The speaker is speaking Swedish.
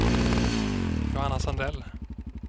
Johanna Sandell